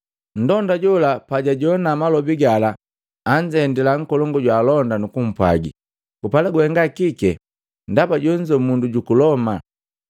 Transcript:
Nndonda jola pajajoana malobi gala anzendila nkolongu jwaalonda nukumpwaagi, “Gupala guhenga kike? Ndaba jonzo mundu juku Loma!”